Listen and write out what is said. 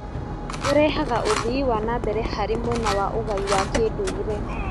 Ũrehaga ũthii wa na mbere harĩ mwena wa ũgai wa kĩndũire